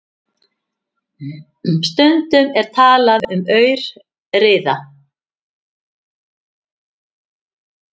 Stundum er talað um aurriða.